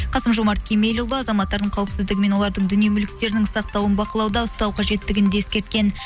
қасым жомарт кемелұлы азаматтардың қауіпсіздігі мен олардың дүние мүліктерінің сақталуын бақылауда ұстау қажеттігін де ескерткен